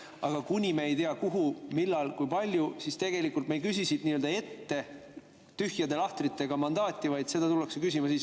Aga kuni me ei tea, kuhu, millal, kui palju, siis me tegelikult ei küsi ette tühjade lahtritega mandaati, vaid seda tullakse küsima siis,.